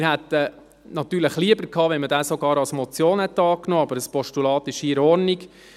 Wir hätten es natürlich lieber gehabt, wenn man diesen sogar als Motion angenommen hätte, aber ein Postulat ist hier in Ordnung.